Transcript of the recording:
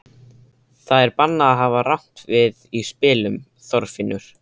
Það er bannað að hafa rangt við í spilum, Þorfinnur.